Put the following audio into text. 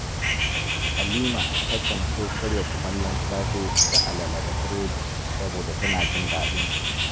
Halima takan so karya kumallon safe da alala da burodi saboda tana jin daɗinsu